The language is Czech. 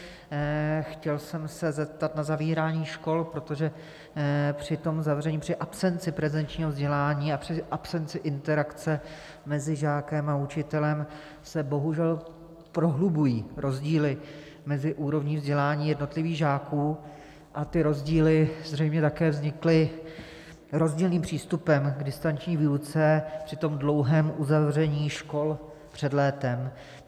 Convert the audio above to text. Chtěl jsem se zeptat na zavírání škol, protože při tom zavření, při absenci prezenčního vzdělávání a při absenci interakce mezi žákem a učitelem se bohužel prohlubují rozdíly mezi úrovní vzdělání jednotlivých žáků a ty rozdíly zřejmě také vznikly rozdílným přístupem k distanční výuce při tom dlouhém uzavření škol před létem.